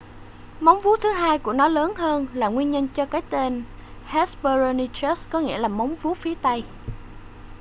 móng vuốt thứ hai của nó lớn hơn là nguyên nhân cho cái tên hesperonychus có nghĩa là móng vuốt phía tây